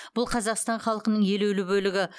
бұл қазақстан халқының елеулі бөлігі